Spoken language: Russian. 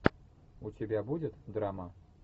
у тебя будет драма